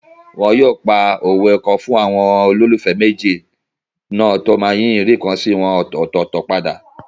Wọn yóò pa òwe kan fún àwọn olólùfẹ́ méjì náà tó máa yí ìríǹkansí wọn ọ̀tọ̀ọ̀tọ̀ padà